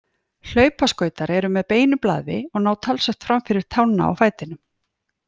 Hlaupaskautar eru með beinu blaði og ná talsvert fram fyrir tána á fætinum.